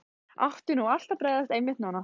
Átti nú allt að bregðast, einmitt núna?